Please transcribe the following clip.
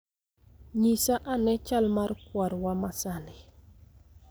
Nyisa ane chal mar kwarwa ma sani